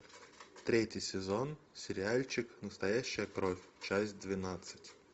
третий сезон сериальчик настоящая кровь часть двенадцать